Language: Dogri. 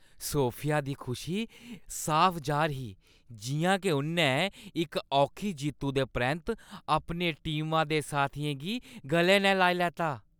सोफिया दी खुशी साफ जाह्‌र ही जि'यां के उʼन्नै इक औखी जित्तु दे परैंत्त अपने टीमा दे साथियें गी गले नै लाई लैता।